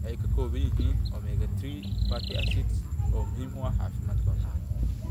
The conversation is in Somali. Waxay ka kooban yihiin omega-3 fatty acids, oo muhiim u ah caafimaadka wadnaha.